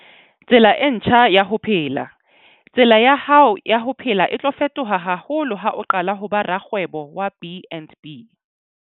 Tsela e ntjha ya ho phela - Tsela ya hao ya ho phela e tlo fetoha haholo ha o qala ho ba rakgwebo wa BnB.